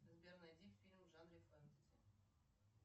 сбер найди фильм в жанре фэнтези